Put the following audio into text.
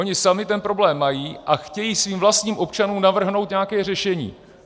Oni sami ten problém mají a chtějí svým vlastním občanům navrhnout nějaké řešení.